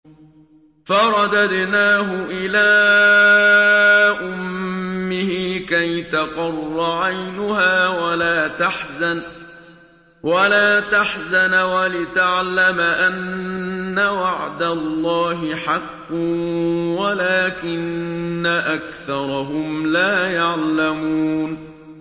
فَرَدَدْنَاهُ إِلَىٰ أُمِّهِ كَيْ تَقَرَّ عَيْنُهَا وَلَا تَحْزَنَ وَلِتَعْلَمَ أَنَّ وَعْدَ اللَّهِ حَقٌّ وَلَٰكِنَّ أَكْثَرَهُمْ لَا يَعْلَمُونَ